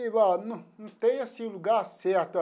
Não não tem assim lugar certo.